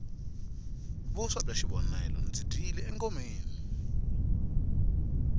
vuswa bya xivonele ndzi dyile ngomeni